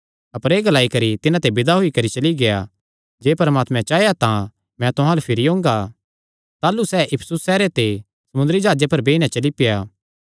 अपर एह़ ग्लाई करी तिन्हां ते विदा होई करी चली गेआ जे परमात्मे चाया तां मैं तुहां अल्ल भिरी ओंगा ताह़लू सैह़ इफिसुस सैहरे ते समुंदरी जाह्जे पर बेई नैं चली पेआ